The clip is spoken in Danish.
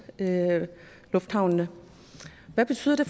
lufthavne hvad betyder det